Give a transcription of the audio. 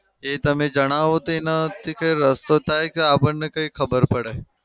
એ તમે જણાવો તો એનાથી કંઈ રસ્તો થાય ક આપણને કઈ ખબર પડે.